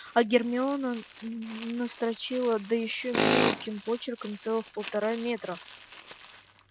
а гермиона настрочила да ещё мелким почерком целых полтора метра